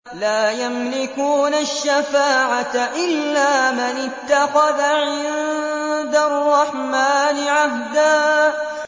لَّا يَمْلِكُونَ الشَّفَاعَةَ إِلَّا مَنِ اتَّخَذَ عِندَ الرَّحْمَٰنِ عَهْدًا